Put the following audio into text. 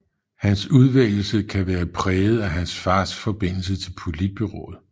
Hans udvælgelse kan være præget af hans fars forbindelse til Politbureauet